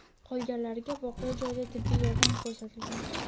qolganlariga voqea joyida tibbiy yordam ko‘rsatilgan.